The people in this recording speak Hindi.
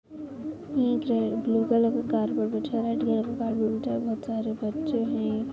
एक रे ब्लू कलर का कारपेट बिछा है रेड कलर का कारपेट बिछा है बहुत सारे बच्चे है।